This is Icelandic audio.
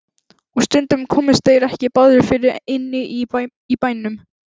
Og stundum komust þeir ekki báðir fyrir inni í bænum.